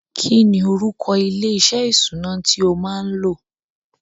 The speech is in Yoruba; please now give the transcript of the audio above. Kí ni orúkọ ilé-iṣẹ́ ìṣúná tí o máa lọ?